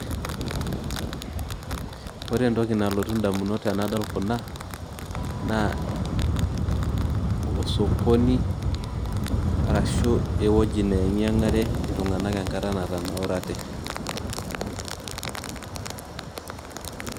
Ore entoki nalotu indamunot tenadol kuna naa osokoni arashu ewueji neyang'iyang'are iltung'anak enkata natanaurate.